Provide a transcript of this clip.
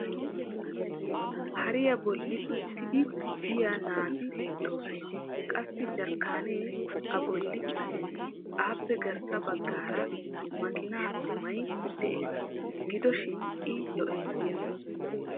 hariya bolli uttidi biya naati beettoosona. qassi jarkkaanee a bolli uttis. appe garssa baggaara makiinaa goomay des. gido shin i lo'enna.